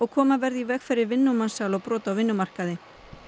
koma verði í veg fyrir vinnumansal og brot á vinnumarkaði